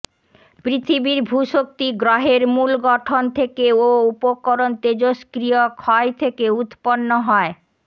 পৃথিবীর ভূ শক্তি গ্রহের মূল গঠন থেকে ও উপকরণ তেজস্ক্রিয় ক্ষয় থেকে উত্পন্ন হয়